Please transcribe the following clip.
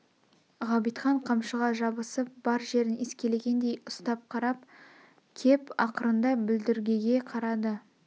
ғабитхан қамшыға жабысып бар жерін искелегендей ұстап қарап кеп ақырында бүлдіргеге қарады